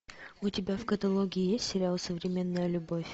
у тебя в каталоге есть сериал современная любовь